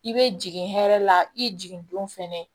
I bɛ jigin hɛrɛ la i jigin don fɛnɛ